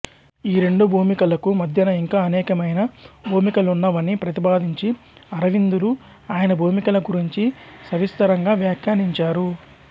ఈ రెండు భూమికలకు మధ్యన ఇంకా అనేకమైన భూమికలున్నవని ప్రతిపాదించి అరవిందులు ఆయన భూమికల గురించి సవిస్తరంగా వ్యాఖ్యానించారు